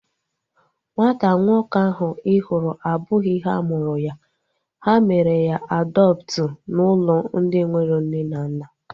Nwata nwoke ahu ị hụrụ abụghị ha mụrụ ya. Ha mere ya adọptu n'ụlọ ndị enwero nne na nna